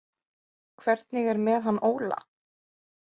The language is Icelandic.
Hvernig er með hann Óla?